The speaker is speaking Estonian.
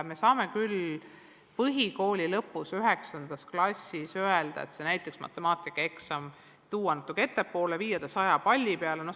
Me saame küll põhikooli lõpus, 9. klassis öelda, et näiteks matemaatikaeksam tuua natuke ettepoole ja viia see 100 palli peale.